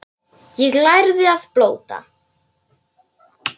Ég lærði að blóta.